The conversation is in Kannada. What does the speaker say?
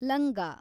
ಲಂಗ